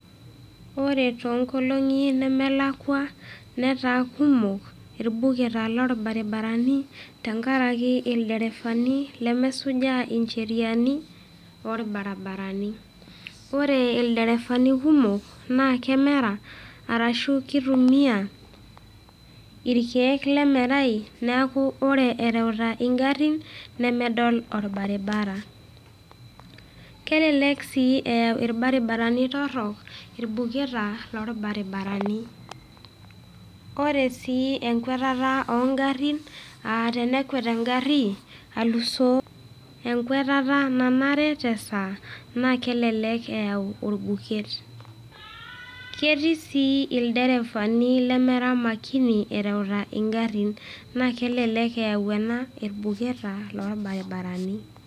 Ore too nkolongi nemelakwa, netaa kumok ilbuketa loolbarabarani tenkaraki ilderefani lemesujaa ncheriani orbarabarani. Ore ilderefani kumok naa kemera arashu keitumiai ilkeek lemerai, neaku ore erewita ingarin nemedol olbaribara. Kelelek sii aa ilbaribarani torok, ilbuketa loolbarabarani. Ore sii enkwetata oo ngarin, aa tenekwet engari alusoo enkwetata nanare te saa naa kelelek eyau olbuket. Ketii sii ilderefani lemera makini erewita ingarin naa kelelek eyau ena ilbuketa loolbarabarani.